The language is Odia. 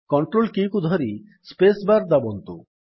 କଣ୍ଟ୍ରୋଲ କୀ କୁ ଧରି ସ୍ପେସ୍ ବାର୍ ଦାବନ୍ତୁ